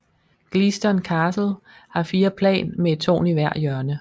Gleaston Castle har fire plan med et tårn i hvert hjørne